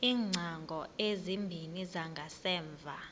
iingcango ezimbini zangasemva